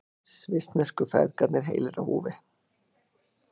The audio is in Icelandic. Svissnesku feðgarnir heilir á húfi